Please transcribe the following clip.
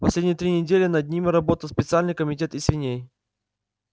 последние три недели над ними работал специальный комитет из свиней